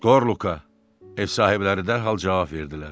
"Skorluka" - ev sahibləri dərhal cavab verdilər.